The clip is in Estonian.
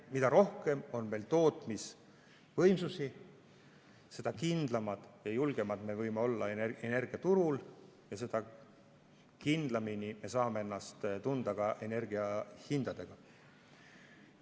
Mida rohkem on meil tootmisvõimsusi, seda kindlamad ja julgemad me võime olla energiaturul ja seda kindlamini me saame ennast tunda ka energiahindade mõttes.